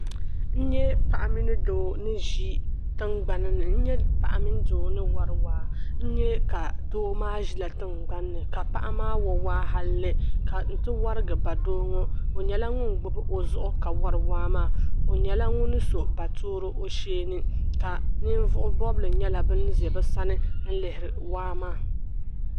N nya paɣa mini doo ni ʒi tiŋgbani ni n nya paɣa mini doo ni wari waa n nya ka doo maa ʒila tiŋgbani ni ka paɣa maa wa waa halli nti warigi ba doo ŋɔ o nyɛla ŋun gbibi o zuɣu ka wari waa maa. O nyɛla ŋun so baatooro o shee ni ka ninvuɣ' bɔbili nyɛla ban za bɛ sani n-lihiri waa maa.